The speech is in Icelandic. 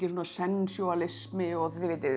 sensjúalismi og